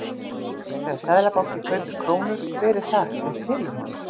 Þegar Seðlabankinn kaupir krónur, hver er það sem selur honum?